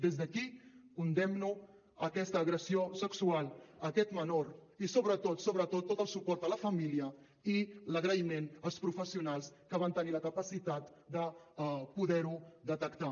des d’aquí condemno aquesta agressió sexual a aquest menor i sobretot sobretot tot el suport a la família i l’agraïment als professionals que van tenir la capacitat de poder ho detectar